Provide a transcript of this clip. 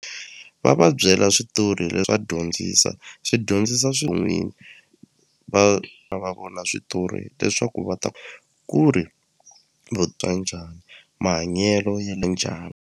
Va va byela switori leswi va dyondzisa swi dyondzisa swo n'wini va vona switori leswaku va ta ku ri va twa njhani mahanyelo ya le .